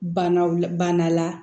Banaw la bana la